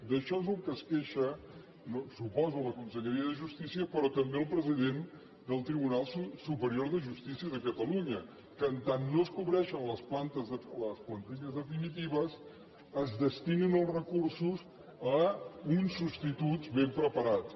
d’això és del que es queixa suposo la conselleria de justícia però també el president del tribunal superior de justícia de catalunya que mentre no es cobreixen les plantilles definitives es destinin els recursos a uns substituts ben preparats